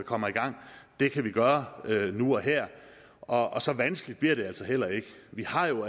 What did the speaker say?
kommer i gang det kan vi gøre nu og her og så vanskeligt bliver det altså heller ikke vi har jo